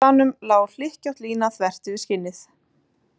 Frá síðasta stafnum lá hlykkjótt lína þvert yfir skinnið.